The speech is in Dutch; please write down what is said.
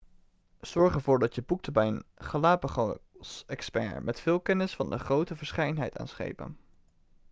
zorg ervoor dat je boekt bij een galapagosexpert met veel kennis van de grote verscheidenheid aan schepen